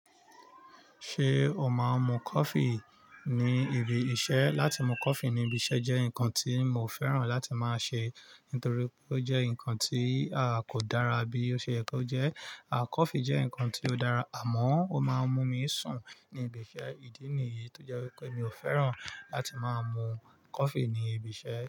Ṣé o máa ń mu coffee ní ibi iṣẹ́? Látì mú coffee ní ibi iṣẹ́ jẹ́ ǹkan tí mo fẹ́ràn láti máa ṣe, nítorí pé ó jẹ́ ǹkan tí a kò dára bí ó ṣe yẹ kó jẹ́. À coffee jẹ́ ǹkan tí ó dára, àmọ́ ó máa ń mú mi sùn ní ibi iṣẹ́. Ìdí nìyí tó jẹ́ wípé mi ò fẹ́ràn láti máa mu coffee ní ibi iṣẹ́.